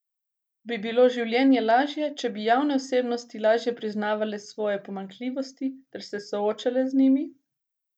Bi bilo življenje lažje, če bi javne osebnosti lažje priznavale svoje pomanjkljivosti ter se soočale z njimi?